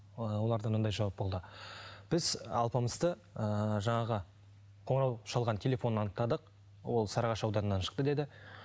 ыыы оларда мынандай жауап болды біз алпамысты ыыы жаңағы қонырау шалған телефонын анықтадық ол сарыағаш ауданынан шықты деді